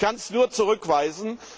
Ich kann das nur zurückweisen.